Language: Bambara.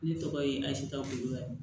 Ne tɔgɔ ye azita kulubali